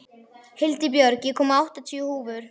Hildibjörg, ég kom með áttatíu húfur!